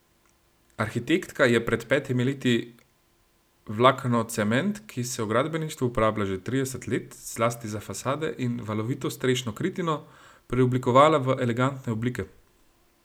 Arhitektka je pred petimi leti vlaknocement, ki se v gradbeništvu uporablja že trideset let, zlasti za fasade in valovito strešno kritino, preoblikovala v elegantne oblike.